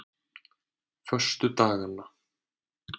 föstudaganna